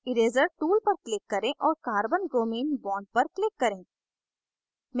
erazer tool पर click करें और carbonbromine bond पर click करें